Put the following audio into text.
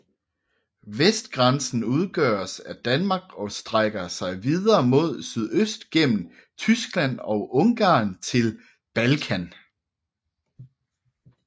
Vestgrænsen udgøres af Danmark og strækker sig videre mod sydøst gennem Tyskland og Ungarn til Balkan